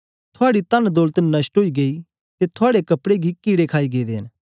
थूआडी तन दौलत नष्ट ओई गेई ते थुआड़े कपड़े गी कीड़े खाई गेदे न